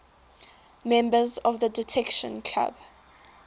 members of the detection club